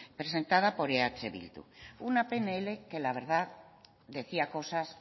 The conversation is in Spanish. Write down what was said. presentada por eh bildu una pnl que la verdad decía cosas